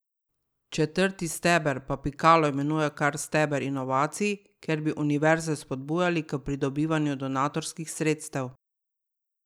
Četrti steber pa Pikalo imenuje kar steber inovacij, kjer bi univerze spodbujali k pridobivanju donatorskih sredstev.